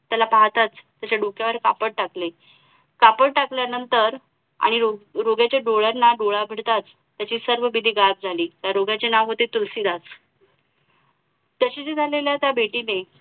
त्याला पाहताच त्याच्या डोक्यावर कापड टाकले कापड टाकल्यानंतर आणि रोग्याच्या डोळ्यांना डोळा भिडताच त्याची सर्व भीती गायब झाली त्या रोग्याचे नाव होते तुलसीदास तशी ज्या त्या भेटीने